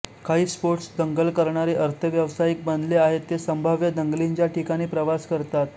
काही स्पोर्ट्स दंगल करणारे अर्धव्यावसायिक बनले आहेत ते संभाव्य दंगलींच्या ठिकाणी प्रवास करतात